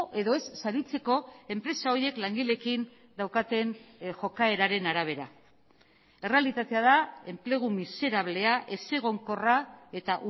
edo ez saritzeko enpresa horiek langileekin daukaten jokaeraren arabera errealitatea da enplegu miserablea ezegonkorra eta